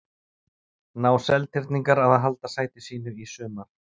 Ná Seltirningar að halda sæti sínu í sumar?